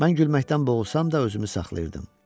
Mən gülməkdən boğulsam da özümü saxlayırdım.